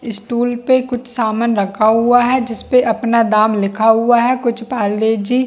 stool पे कुछ सामान रखा हुआ है जिस पे अपना दाम लिखा हुआ है कुछ पार्ले जी --